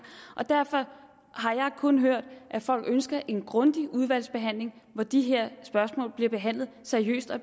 derfor har jeg kun hørt at folk ønsker en grundig udvalgsbehandling hvor de her spørgsmål bliver behandlet seriøst og